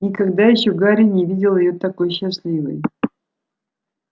никогда ещё гарри не видел её такой счастливой